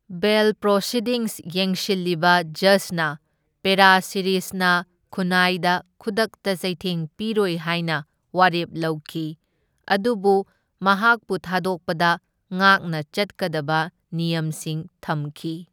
ꯕꯦꯜ proceedings ꯌꯦꯡꯁꯤꯜꯂꯤꯕ ꯖꯖꯅ ꯄꯦꯔꯥꯁꯤꯔꯤꯁꯅ ꯈꯨꯟꯅꯥꯏꯗ ꯈꯨꯗꯛꯇ ꯆꯩꯊꯦꯡ ꯄꯤꯔꯣꯏ ꯍꯥꯢꯅ ꯋꯥꯔꯦꯞ ꯂꯧꯈꯤ, ꯑꯗꯨꯕꯨ ꯃꯍꯥꯛꯄꯨ ꯊꯥꯗꯣꯛꯄꯗ ꯉꯥꯛꯅ ꯆꯠꯀꯗꯕ ꯅꯤꯌꯝꯁꯤꯡ ꯊꯝꯈꯤ꯫